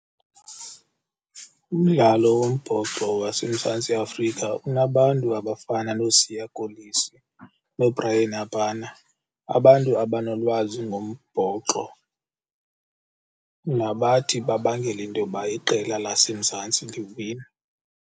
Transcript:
Umdlalo wombhoxo waseMzantsi Afrika unabantu abafana nooSiya Kolisi, nooBryan Habana abantu abanolwazi ngombhoxo nabathi babangele into yoba iqela laseMzantsi liwine.